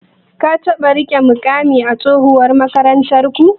Ka taɓa riƙe muƙami a tsohuwar makarantarku?